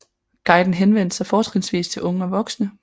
Guiden henvendte sig fortrinsvis til unge og voksne